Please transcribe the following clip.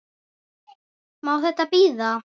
Má þetta bíða?